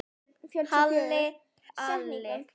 Halli Palli.